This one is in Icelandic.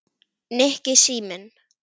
Nikki, síminn